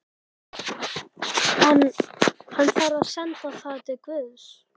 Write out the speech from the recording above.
En- hann þarf að senda það til guðs.